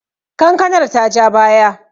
kankanar ta ja baya?